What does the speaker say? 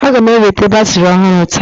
a ga m eweta batrị ọhụrụ taa